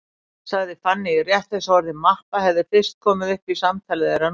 sagði Fanný, rétt eins og orðið mappa hefði fyrst komið upp í samtali þeirra núna.